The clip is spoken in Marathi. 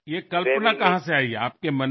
ही कल्पना आपल्या मनात कशी बरं आली